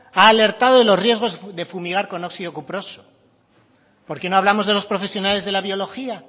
ha alertado de los riesgos de fumigar con óxido cuproso por qué no hablamos de los profesionales de la biología